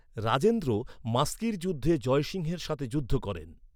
রাজেন্দ্র মাস্কির যুদ্ধে জয়সিংহের সাথে যুদ্ধ করেন।